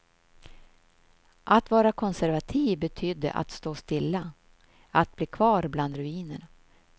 Att vara konservativ betydde att stå stilla, att bli kvar bland ruinerna.